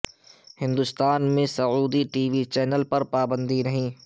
ہندوستان میں Saudi T V channel پر پابندی نہیں